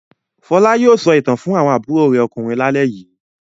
Fọlá yóò sọ ìtàn fún àwọn àbúrò rẹ̀ ọkùnrin lálẹ́ yìí.a